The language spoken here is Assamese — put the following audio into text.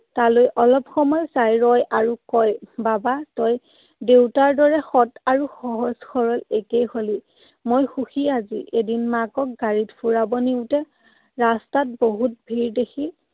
তালৈ অলপ সময় চাই ৰয় আৰু কয়, বাবা, তই দেউতাৰ দৰে সৎ আৰু সহজ সৰল একেই হলি। মই সুখী আজি। এদিন মাকক গাড়ীত ফুৰাব নিওঁতে ৰাস্তাত বহুত ভীৰ দেখি